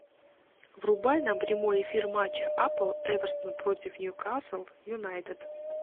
врубай нам прямой эфир матча апл эвертон против ньюкасл юнайтед